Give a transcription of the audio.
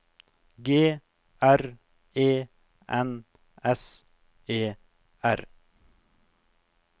G R E N S E R